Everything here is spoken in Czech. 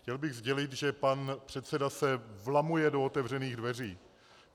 Chtěl bych sdělit, že pan předseda se vlamuje do otevřených dveří.